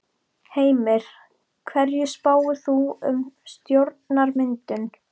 Heimir: Hverju spáir þú um stjórnarmyndun?